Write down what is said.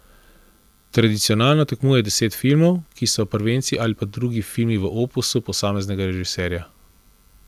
Tradicionalno tekmuje deset filmov, ki so prvenci ali pa drugi filmi v opusu posameznega režiserja.